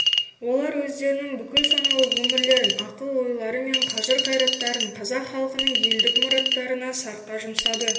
олар өздерінің бүкіл саналы өмірлерін ақыл-ойлары мен қажыр қайраттарын қазақ халқының елдік мұраттарына сарқа жұмсады